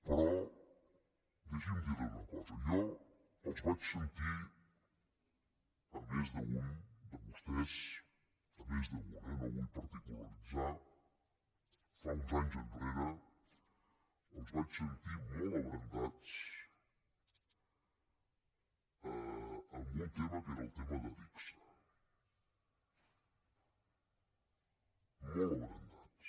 però deixi’m dirli una cosa jo els vaig sentir a més d’un de vostès a més d’un eh no vull particularitzar fa uns anys enrere els vaig sentir molt abrandats amb un tema que era el tema d’adigsa molt abrandats